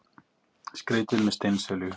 Skreytið með steinselju.